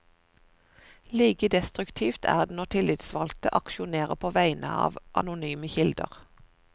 Like destruktivt er det når tillitsvalgte aksjonerer på vegne av anonyme kilder.